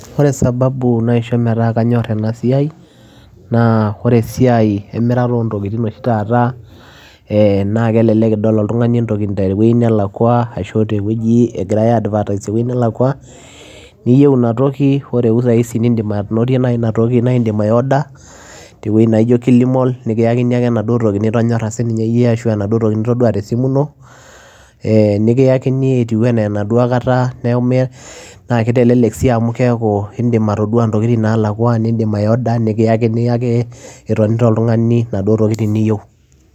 Ore sababu naisho metaa kanyor ena siai naa ore esiai emirata oo ntokitin oshi taata ee naake elelek idol oltung'ani entoki te wuei nelakua ashu te wueji egirai aiadvertise te wuei nelakua, niyeu ina toki ore eutai sii niindim anotie sii inatoki niindim aiorder te wuei naijo Kili mall [cs, nekiyakini ake enaduo toki nitonyora sininye iyie ashu aa enaduo toki nitodua te simu ino. Ee nekiyakini etiu enaa enaduo kata, naake itelelek sii ake amu keeku iindim atodua intokitin naalakua, niindim aiorder nekiyakini ake itonita oltung'ani intokitin niyeu.